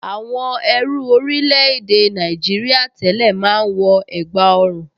Àwọn ẹrú orílẹ̀-èdè Nàìjìrìà tẹ́lẹ̀ máa ń wọ ègbá ọrùn